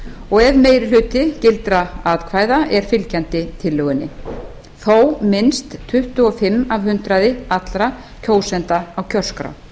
og ef meiri hluti gildra atkvæða er fylgjandi tillögunni þó minnst tuttugu og fimm af hundraði allra kjósenda á kjörskrá